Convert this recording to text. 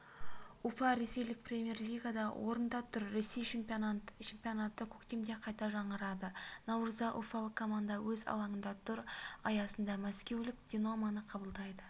уфа ресейлік премьер-лигада орында тұр ресей чемпионаты көктемде қайта жаңғырады наурызда уфалық команда өз алаңында тур аясында мәскеулік динамоны қабылдайды